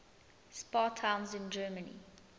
spa towns in germany